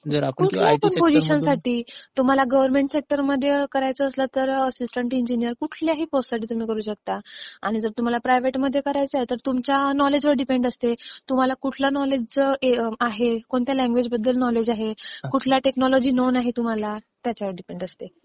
कुठल्या पण पोसिशनसाठी. तुम्हाला गव्हर्नमेंट सेक्टरमध्ये करायचं असलं तर असिस्टांट इंजिनिर, कुठल्याही पोस्टसाठी तुम्ही करू शकता आणि जर तुम्हाला प्रायव्हेटमध्ये करायचं आहे तर तुमच्या नॉलेजवर डीपेंड असते, तुम्हाला कुठलं नॉलेज आहे, कुठल्या लँग्वेजबद्दल नॉलेज आहे, कुठल्या टेक्नॉलॉजी नोन आहे तुम्हाला, त्याच्यावरती असते.